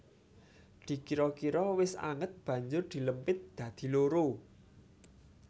Dikira kira wis anget banjur dilempit dadi loro